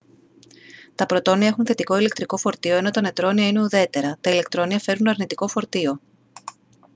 τα πρωτόνια έχουν θετικό ηλεκτρικό φορτίο ενώ τα νετρόνια είναι ουδέτερα τα ηλεκτρόνια φέρουν αρνητικό φορτίο